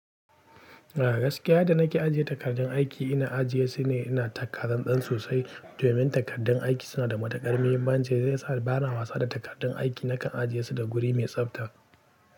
A gaskiya yadda nake ajiye takardun aiki, ina ajiye su ne ina taka tsan tsan sosai domin takardun aiki suna da matukar muhimmanci. Zai sa bana wasa da takardun aiki nakan ajiye su da guri mai tsafta.